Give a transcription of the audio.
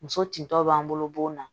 Muso tentɔ b'an bolo bɔn na